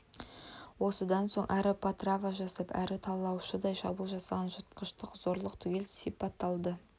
осыдан соң әрі потрава жасап әрі талаушыдай шабуыл жасаған жыртқыштық зорлық түгел сыпатталады